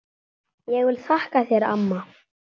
Ég vil þakka þér amma.